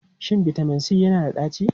Shin bitamin C yana da ɗaci?